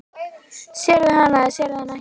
Sérðu hana eða sérðu hana ekki?